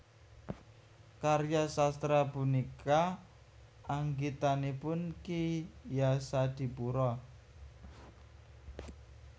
Karya sastra punika anggitanipun Ki Yasadipura